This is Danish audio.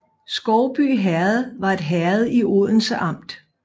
Skovby Herred var et herred i Odense Amt